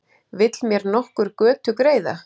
Vill mér nokkur götu greiða?